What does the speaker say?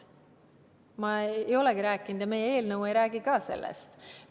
Ma ei olegi sellest rääkinud, ja ka meie eelnõu ei räägi sellest.